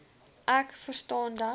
ek verstaan dat